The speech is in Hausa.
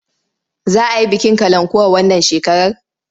Za a yi bikin kalankuwa wannan shekarar?